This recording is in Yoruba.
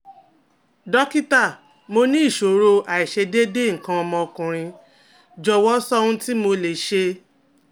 Dókítà, mo ní ìṣòro aiṣedeede ikan omo okunrin, jọ̀wọ́ sọ ohun tí mo lè ṣe